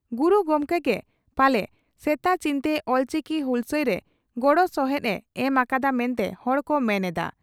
ᱜᱩᱨᱩ ᱜᱚᱢᱠᱮ ᱜᱮ ᱯᱟᱞᱮ ᱥᱮᱛᱟ ᱪᱤᱱᱛᱮ ᱚᱞᱪᱤᱠᱤ ᱦᱩᱦᱞᱥᱟᱹᱭ ᱨᱮ ᱜᱚᱲᱚᱥᱚᱦᱮᱫ ᱮ ᱮᱢ ᱟᱠᱟᱫᱼᱟ ᱢᱮᱱᱛᱮ ᱦᱚᱲ ᱠᱚ ᱢᱮᱱ ᱮᱫᱼᱟ ᱾